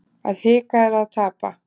Að hika er að tapa